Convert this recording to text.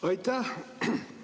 Aitäh!